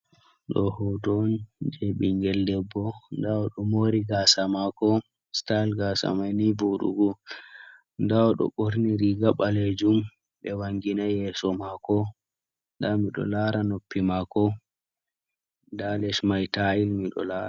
Ɗo hoto on je ɓingel debbo. Nda oɗo mori gasa mako. Stayel gasa mai ni voɗugo. Nda oɗo ɓorni riga ɓalejum ɓe wanginai yeso mako nda miɗo lara noppi mako nda les mai tais miɗo lara.